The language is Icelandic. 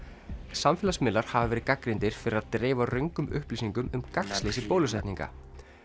samfélagsmiðlar hafa verið gagnrýndir fyrir að dreifa röngum upplýsingum um gagnsleysi bólusetninga